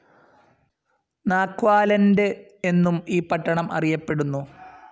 നാക്വാലണ്ട് എന്നും ഈ പട്ടണം അറിയപ്പെടുന്നു.